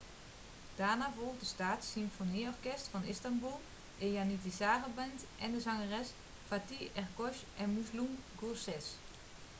daarna volgde staats-symfonieorkest van istanbul een janitsarenband en de zangers fatih erkoç en müslüm gürses